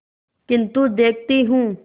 किन्तु देखती हूँ